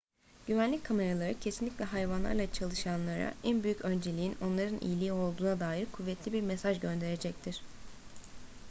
güvenlik kameraları kesinlikle hayvanlarla çalışanlara en büyük önceliğin onların iyiliği olduğuna dair kuvvetli bir mesaj gönderecektir